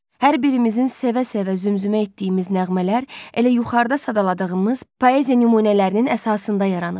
Hər birimizin sevə-sevə zümzümə etdiyimiz nəğmələr elə yuxarıda sadaladığımız poeziya nümunələrinin əsasında yaranıb.